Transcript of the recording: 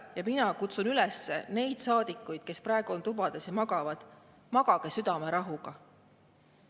Ja mina kutsun üles neid saadikuid, kes praegu on tubades ja magavad: magage südamerahuga.